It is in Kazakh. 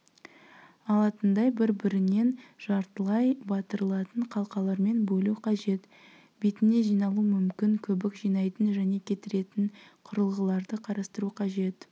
алатындай бір-бірінен жартылай батырылатын қалқалармен бөлу қажет бетіне жиналуы мүмкін көбік жинайтын және кетіретін құрылғыларды қарастыру қажет